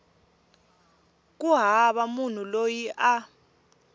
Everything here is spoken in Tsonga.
ku hava munhu loyi a